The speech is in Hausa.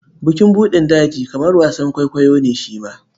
Bukin buɗin daji kamar wasan kwaikwayo ne shi ma.